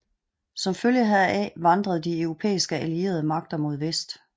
Som følge heraf vandrede de europæiske allierede magter mod vest